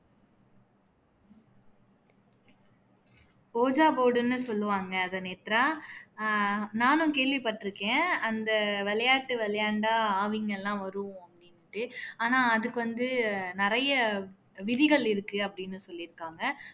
ojha board னு சொல்லுவாங்க அதை நேத்ரா ஆஹ் நானும் கேள்விபட்டுருக்கேன் அந்த விளையாட்டு விளையாண்டா ஆவிங்க எல்லாம் வரும் அப்படின்னுட்டு ஆனா அதுக்கு வந்து நிறைய விதிகள் இருக்கு அப்படின்னு சொல்லிருக்காங்க